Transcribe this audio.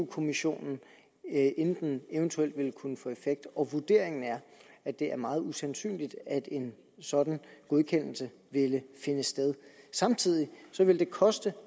kommissionen inden den eventuelt ville kunne få effekt og vurderingen er at det er meget usandsynligt at en sådan godkendelse ville finde sted samtidig ville det koste